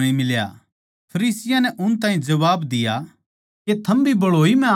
फरीसियाँ नै उन ताहीं जबाब दिया के थम भी भळोई म्ह आग्गै